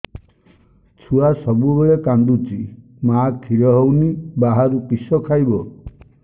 ଛୁଆ ସବୁବେଳେ କାନ୍ଦୁଚି ମା ଖିର ହଉନି ବାହାରୁ କିଷ ଖାଇବ